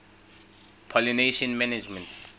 pollination management